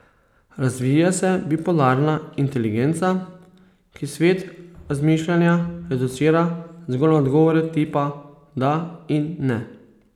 Razvija se bipolarna inteligenca, ki svet razmišljanja reducira zgolj na odgovore tipa da in ne.